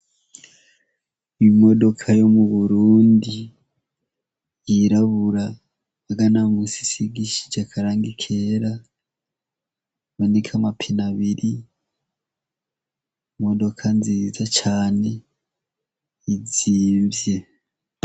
Imodoka yo mu Burundi yirabura muga no munsi isigishije akarangi kera iboneka amapine abiri, imodoka nziza cane izimvye.